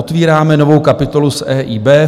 Otvíráme novou kapitolu s EIB.